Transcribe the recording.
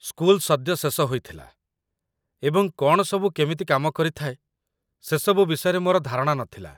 school ସଦ୍ୟ ଶେଷ ହୋଇଥିଲା, ଏବଂ କ'ଣ ସବୁ କେମିତି କାମ କରିଥାଏ, ସେସବୁ ବିଷୟରେ ମୋର ଧାରଣା ନଥିଲା